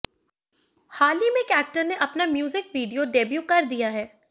हाल ही में एक्टर ने अपना म्यूजिक वीडियो डेब्यू कर दिया है